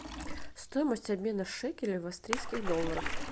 стоимость обмена шекелей в австрийских долларах